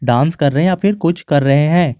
Dance कर रहे हैं या फिर कुछ कर रहे हैं।